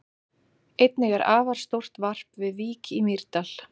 Einnig er afar stórt varp við Vík í Mýrdal.